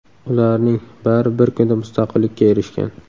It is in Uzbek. Ularning bari bir kunda mustaqillikka erishgan.